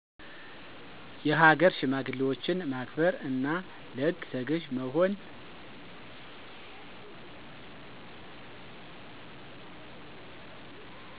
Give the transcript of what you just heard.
የሃገር ሽማግሌዎችን ማክበር፣ እና ለህግ ተገዥ መሆን።